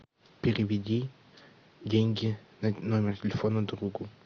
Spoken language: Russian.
переведи деньги на номер телефона другу